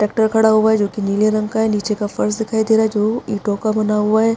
Tractor खड़ा हुआ है जो की नीले रंग का है नीचे का फर्श दिखाई दे रहा है जो ईटो का बना हुआ है ।